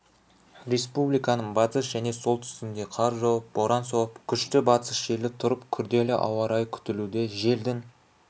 республиканың батыс және солтүстігінде қар жауып боран соғып күшті батыс желі тұрып күрделі ауа-райы күтілуде желдің